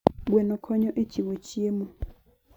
Gweno konyo e chiwo chiemo.